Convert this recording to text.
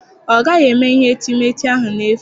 Ọ gaghị eme ihe etemeete ahụ n'efu.